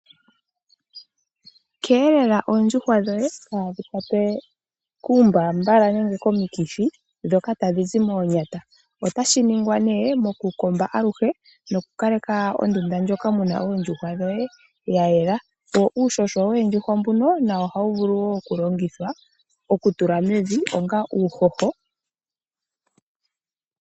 Keelela oondjuhwa dhoye dhaa ha kwatwe kuumbambala nenge komikithi ndhoka tadhi zi moonyata. Otashi ningwa mokukomba aluhe noku kaleka ondunda ndjoka muna oondjuhwa dhoye ya yela. Uuhoho woondjuhwa ohawu vulu okulongithwa oku tula mevi onga uuhoho.